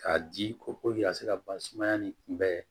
K'a di ko ka se ka ban sumaya nin kunbɛn